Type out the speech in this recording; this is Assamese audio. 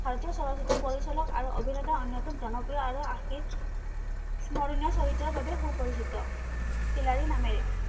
ভাৰতীয় চলচ্চিত্ৰ পৰিচালক আৰু অভিনেতা অন্যতম জনপ্ৰিয় আৰু আশিস স্মৰণীয় চৰিত্ৰৰ বাবে সুপৰিচিত, খিলাৰি নামেৰে